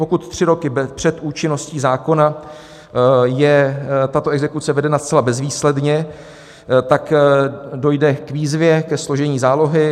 Pokud tři roky před účinností zákona je tato exekuce vedena zcela bezvýsledně, tak dojde k výzvě ke složení zálohy.